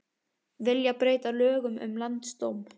Vilja breyta lögum um landsdóm